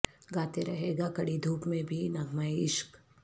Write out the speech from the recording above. گاتے رہیے گا کڑی دھوپ میں بھی نغمہ عشق